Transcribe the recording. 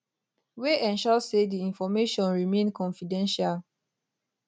wey ensure say di information remain confidential